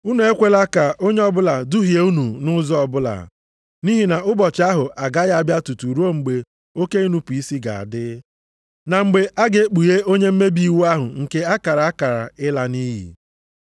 Unu ekwela ka onye ọbụla duhie unu nʼụzọ ọbụla, nʼihi na ụbọchị ahụ agaghị abịa tutu ruo mgbe oke inupu isi ga-adị, na mgbe a ga-ekpughe onye mmebi iwu ahụ nke a kara akara ịla nʼiyi.